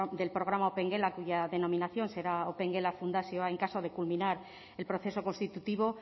del programa opengela cuya denominación será opengela fundazioa en caso de culminar el proceso constitutivo